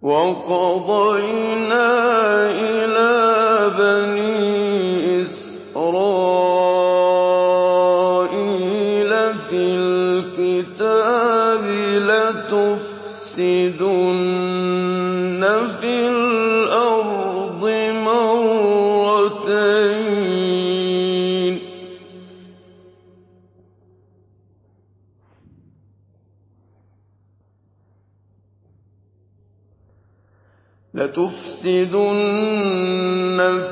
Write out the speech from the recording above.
وَقَضَيْنَا إِلَىٰ بَنِي إِسْرَائِيلَ فِي الْكِتَابِ لَتُفْسِدُنَّ